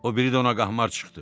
O biri də ona qaxmar çıxdı.